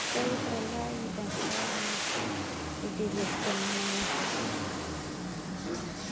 Pessoal ia para lá e dançavam, se divertiam mesmo à vontade.